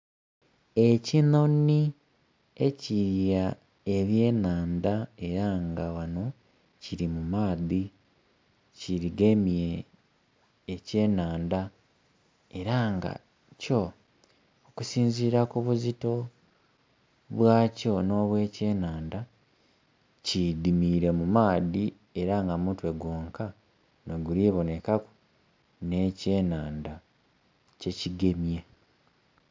Ekinhonhi ekilya ebyenhandha era nga ghanho kiri mu maadhi kigemye ekyenhandha era nga kyo, okusinzira kubuzito bwa kyo n'obwa ekyenhandha, kidimire mu maadhi era nga mutwe gwonka noguli kubonhekaku n'ekyenhandha kyekigemye.